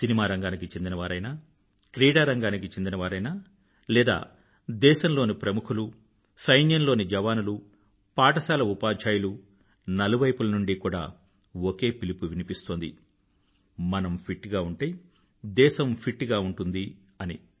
cinema రంగానికి చెందినవారైనా క్రీడారంగానికి చెందినవారైనా లేదా దేశంలోని ప్రముఖులు సైన్యంలోని జవానులు పాఠశాల ఉపాధ్యాయులు నలువైపుల నుండీ కూడా ఒకే పిలుపు వినిపిస్తోంది మనం ఫిట్ గా ఉంటే దేశం ఫిట్ గా ఉంటుంది అని